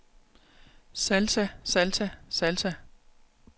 salsa salsa salsa